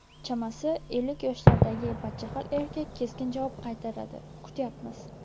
Chamasi, ellik yoshlardagi badjahl erkak keskin javob qaytaradi: kutyapmiz.